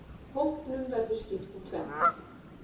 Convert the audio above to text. Hópnum verður skipt í tvennt.